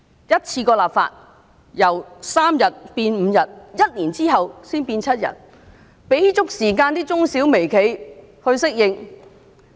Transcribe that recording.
一次過立法，由3天增至5天 ，1 年後才增至7天，讓中小微企有足夠時間適應。